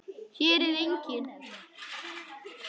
Hér er enginn.